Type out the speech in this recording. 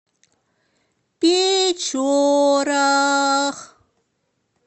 печорах